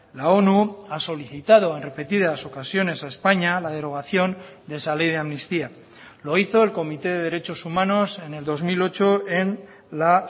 la onu ha solicitado en repetidas ocasiones a españa la derogación de esa ley de amnistía lo hizo el comité de derechos humanos en el dos mil ocho en la